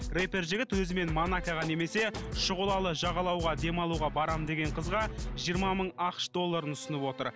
рэпер жігіт өзімен монакоға немесе шұғылалы жағалауға демалуға барамын деген қызға жиырма мың ақш долларын ұсынып отыр